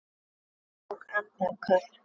Hann tók andköf.